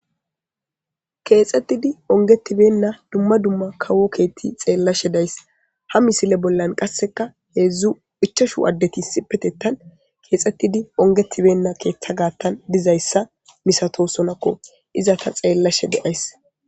keexxettidi ongetibenna dumma dumma kawo keetti xeellashe days ha misile bollan qasseka heedzdzu ichashu addeti sipetetan keexettidi ongetibenna keeththa gaattan dizayssa misato sonakko iza ta xeellashe deays